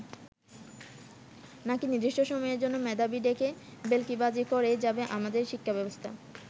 নাকি নির্দিষ্ট সময়ের জন্য মেধাবী ডেকে ভেলকিবাজি করেই যাবে আমাদের শিক্ষাব্যবস্থা!